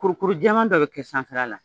Kurukuru jɛman dɔ bɛ kɛ sanfɛla la